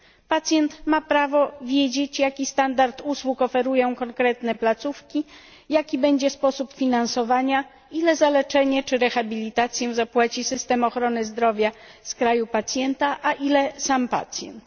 Pacjent ma prawo wiedzieć, jaki standard usług oferują konkretne placówki, jaki będzie sposób finansowania, ile za leczenie czy rehabilitację zapłaci system ochrony zdrowia z kraju pacjenta, a ile sam pacjent.